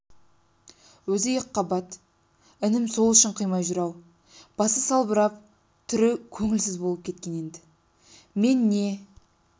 өзі екіқабат інім сол үшін қимай жүр-ау басы салбырап түрі көңілсіз болып кеткен енді мен не